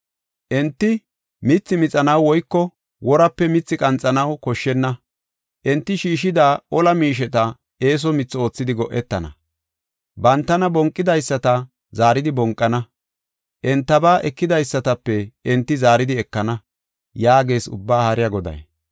Enti mithi mixanaw woyko worape mithi qanxanaw koshshenna. Enti shiishida ola miisheta eeso mithi oothidi go7etana. Bantana bonqidaysata zaaridi bonqana; entaba ekidaysatape enti zaaridi ekana” yaagees Ubbaa Haariya Goday.